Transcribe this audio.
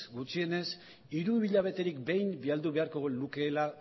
gutxienez hiruhilabeterik behin bidali beharko lukeela